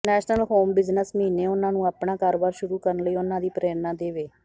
national home business ਮਹੀਨੇ ਉਹਨਾਂ ਨੂੰ ਆਪਣਾ ਕਾਰੋਬਾਰ ਸ਼ੁਰੂ ਕਰਨ ਲਈ ਉਹਨਾਂ ਦੀ ਪ੍ਰੇਰਣਾ ਦੇਵੇ